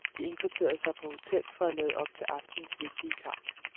De indkvarterede sig på hotel for at lade op til aftenens vigtige kamp.